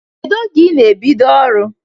Kedụ oge ị na-ebido ọrụ?